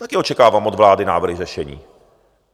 Tady očekávám od vlády návrhy řešení.